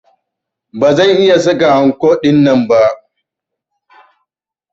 Ba zan iya saka anko dinnan ba.